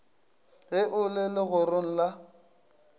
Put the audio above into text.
ge o le legorong la